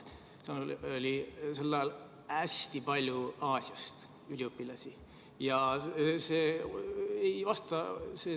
Seal oli sel ajal hästi palju üliõpilasi Aasiast.